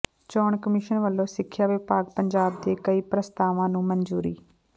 ਚੋਣ ਕਮਿਸ਼ਨ ਵਲੋਂ ਸਿੱਖਿਆ ਵਿਭਾਗ ਪੰਜਾਬ ਦੇ ਕਈ ਪ੍ਰਸਤਾਵਾਂ ਨੂੰ ਮਨਜ਼ੂਰੀ